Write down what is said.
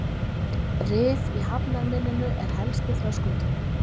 Rif í hafnarmynninu er helsti þröskuldurinn